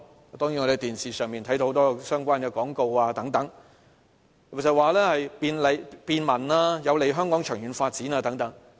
我們從電視看到很多相關的廣告等，經常說便民、有利香港長遠發展等。